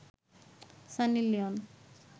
Sunny Leone